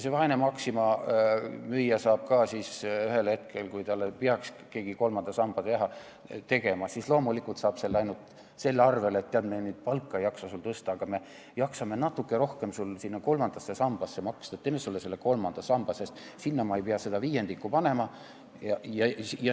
See vaene Maxima müüja saab ühel hetkel, kui talle peaks keegi kolmanda samba tegema, selle loomulikult ainult nii, et talle öeldakse, et tead, me palka ei jaksa sul tõsta, aga me jaksame natuke rohkem sinna kolmandasse sambasse maksta, teeme sulle selle kolmanda samba, sest sinna me ei pea seda viiendikku lisaks panema.